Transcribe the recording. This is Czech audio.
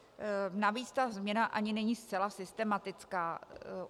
Navíc ta změna ani není zcela systematická.